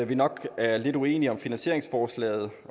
vi nok er lidt uenige i finansieringsforslaget